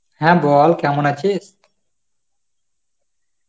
হ্যাঁ বল কেমন আছিস?